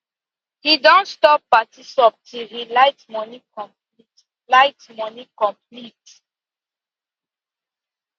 he don stop party sub till di light money light money complete